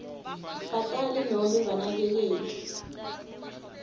batali nobe banakekeli